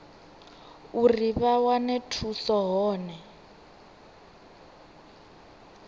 uri vha wane thuso hone